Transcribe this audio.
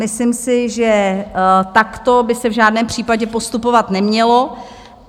Myslím si, že takto by se v žádném případě postupovat nemělo.